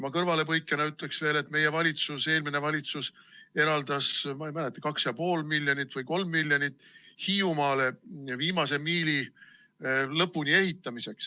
Ma kõrvalepõikena ütlen veel, et eelmine valitsus eraldas, ma täpselt ei mäleta, 2,5 miljonit või 3 miljonit Hiiumaale viimase miili lõpuni ehitamiseks.